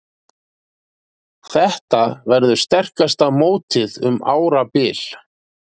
Þetta verður sterkasta mótið um árabil